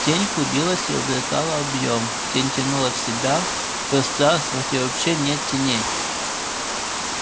тень клубилась и обретала объем тень тянула в себя в пространство где вообще нет теней